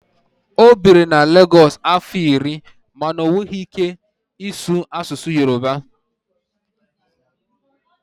o biri na Lagosu afo iri ma o nwekwaghi ike isu asusu Yoruba